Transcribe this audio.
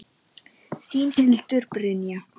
Þín, Hildur Brynja.